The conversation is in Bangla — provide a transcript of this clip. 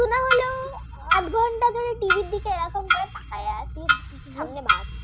সঙ্গে মাছ